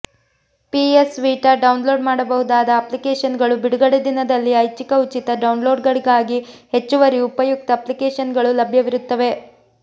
PS Vita download ಮಾಡಬಹುದಾದ ಅಪ್ಲಿಕೇಶನ್ಗಳು ಬಿಡುಗಡೆ ದಿನದಲ್ಲಿ ಐಚ್ಛಿಕ ಉಚಿತ ಡೌನ್ಲೋಡ್ಗಾಗಿ ಹೆಚ್ಚುವರಿ ಉಪಯುಕ್ತ ಅಪ್ಲಿಕೇಶನ್ಗಳು ಲಭ್ಯವಿರುತ್ತವೆ